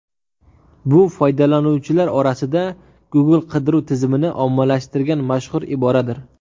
Bu foydalanuvchilar orasida Google qidiruv tizimini ommalashtirgan mashhur iboradir.